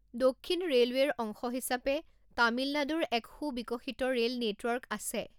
দক্ষিণ ৰে'লৱেৰ অংশ হিচাপে তামিলনাডুৰ এক সু বিকশিত ৰে'ল নেটৱৰ্ক আছে।